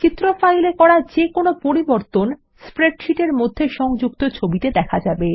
চিত্র ফাইলে যে কোনো পরিবর্তন স্প্রেডশীটের মধ্যে সংযুক্ত ছবিতে দেখা যাবে